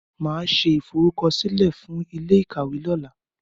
Màá ṣe ìforúkọsílẹ̀ fún ilé ìkàwé lọ́la.